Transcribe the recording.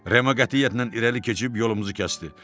Remo qətiyyətlə irəli keçib yolumuzu kəsdi.